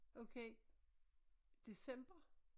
Okay. December?